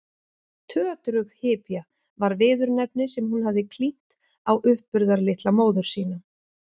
Tötrughypja var viðurnefni sem hún hafði klínt á uppburðarlitla móður sína.